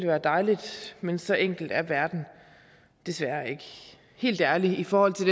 være dejligt men så enkel er verden desværre ikke helt ærligt i forhold til